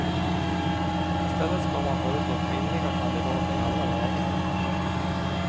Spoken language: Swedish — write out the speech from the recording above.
I stället ska man föreslå kvinnliga kandidater i alla lägen.